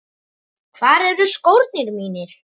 Hvar eru skórnir mínir?